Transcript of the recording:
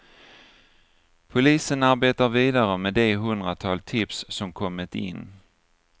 Polisen arbetar vidare med det hundratal tips som kommit in.